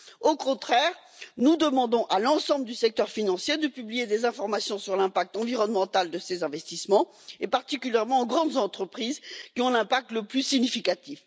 Au contraire, nous demandons à l'ensemble du secteur financier de publier des informations sur l'impact environnemental de ses investissements, et particulièrement aux grandes entreprises, qui ont l'impact le plus significatif.